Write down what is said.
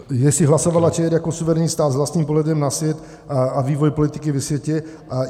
Jestli hlasovala ČR jako suverénní stát s vlastním pohledem na svět a vývoj politiky ve světě.